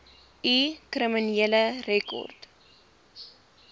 u kriminele rekord